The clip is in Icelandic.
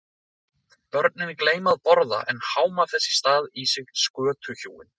Börnin gleyma að borða en háma þess í stað í sig skötuhjúin.